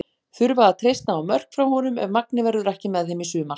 Þurfa að treysta á mörk frá honum ef Magni verður ekki með þeim í sumar.